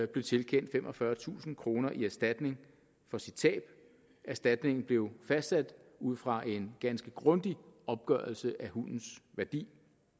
blev tilkendt femogfyrretusind kroner i erstatning for sit tab erstatningen blev fastsat ud fra en ganske grundig opgørelse af hundens værdi